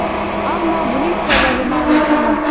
Ammo buning sababi ma’lum emas.